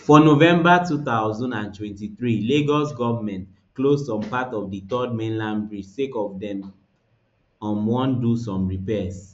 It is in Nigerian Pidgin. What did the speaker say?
for november two thousand and twenty-three lagos goment close some parts of di third mainland bridge sake of say dem um wan do some repairs